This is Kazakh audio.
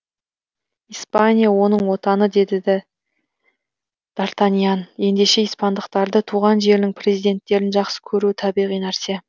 испания оның отаны деді д артаньян ендеше испандықтарды туған жерінің перзенттерін жақсы көруі табиғи нәрсе